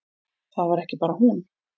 Það var ekki bara hún.